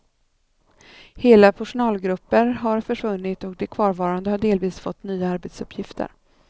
Hela personalgrupper har försvunnit och de kvarvarande har delvis fått nya arbetsuppgifter.